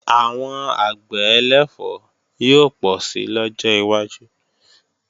Àwọn àgbẹ̀ ẹlẹ̀fọ́ yóò pọ̀ si lọ́jọ́ wájú